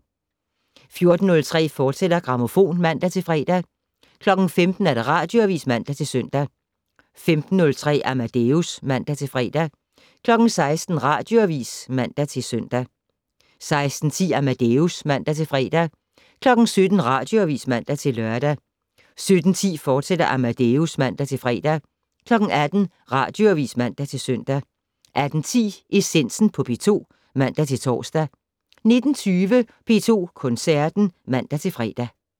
14:03: Grammofon, fortsat (man-fre) 15:00: Radioavis (man-søn) 15:03: Amadeus (man-fre) 16:00: Radioavis (man-søn) 16:10: Amadeus (man-fre) 17:00: Radioavis (man-lør) 17:10: Amadeus, fortsat (man-fre) 18:00: Radioavis (man-søn) 18:10: Essensen på P2 (man-tor) 19:20: P2 Koncerten (man-fre)